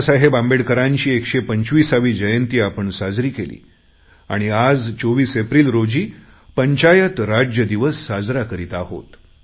बाबासाहेब आंबेडकरांची 125वी जयंती आपण साजरी केली आणि आज 24 एप्रिल रोजी पंचायत राज दिवस साजरा करत आहोत